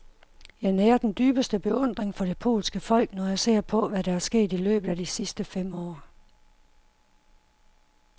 Jeg nærer den dybeste beundring for det polske folk, når jeg ser på, hvad der er sket i løbet af de sidste fem år.